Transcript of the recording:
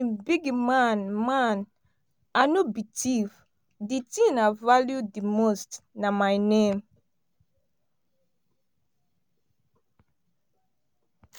big man man i no be thief di tin i value di most na my name.